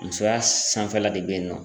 Musoya sanfɛla de bɛ yen nɔ